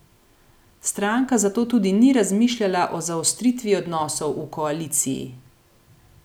Stranka zato tudi ni razmišljala o zaostritvi odnosov v koaliciji.